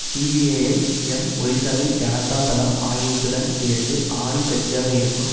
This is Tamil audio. சிபிஐஎம் ஒரிசாவில் ஜனதா தளம் ஆகியவற்றுடன் சேர்ந்து ஆளும் கட்சியாக இருக்கும்